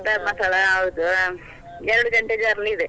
Dharmasthala ಹೌದು ಹಾ ಎರಡು ಗಂಟೆ journey ಇದೆ.